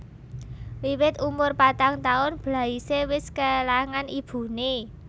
Wiwit umur patang taun Blaise wis kélangan ibuné